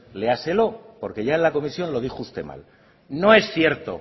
léaselo porque ya en la comisión lo dijo usted mal no es cierto